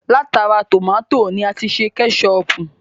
Látara tómátì ni a ti ṣe Kẹ́ṣọpù